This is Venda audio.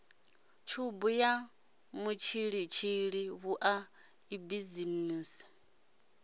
tshubu ya mutshilitshili vhua ibinizimu